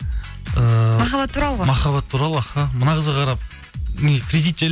ііі махаббат туралы ғой махаббат туралы аха мына қызға қарап не кредит жайлы